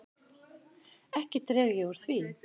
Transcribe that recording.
Ekki dreg ég úr því.